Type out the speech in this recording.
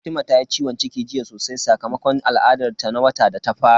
Fatima ta yi ciwon ciki jiya sosai sakamakon al'adar ta na wata da ta fara.